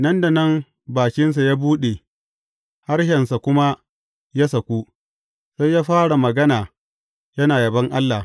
Nan da nan bakinsa ya buɗe harshensa kuma ya saku, sai ya fara magana yana yabon Allah.